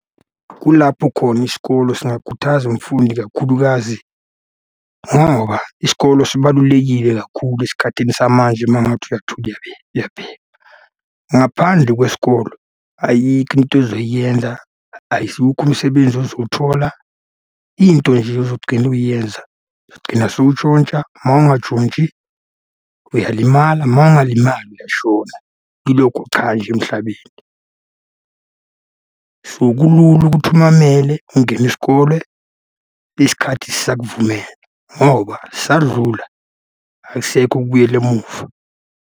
Kulapho khona isikolo singakhuthaza umfundi kakhulukazi ngoba isikolo sibalulekile kakhulu esikhathini samanje uma ngathi uyathula uyabheka. Ngaphandle kwesikolo, ayikho into ozoyenza, ayizukho umsebenzi ozowuthola. Into nje ozogcina uyenza, gcina sowuntshontsha, uma ungatshontshi uyalimala, uma ungalimali uyashona. Yilokho cha nje emhlabeni. So, kulula ukuthi umamele, ungene isikole isikhathi sisakuvumela, ngoba sadlula, akusekho ukubuyela emuva.